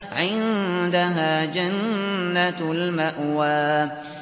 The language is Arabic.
عِندَهَا جَنَّةُ الْمَأْوَىٰ